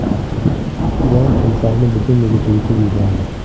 Ilon timsohni butunligicha yutib yubordi .